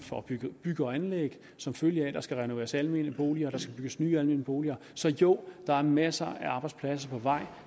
for bygge bygge og anlæg som følge af at der skal renoveres almene boliger og der skal bygges nye almene boliger så jo der er masser af arbejdspladser på vej